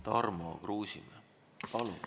Tarmo Kruusimäe, palun!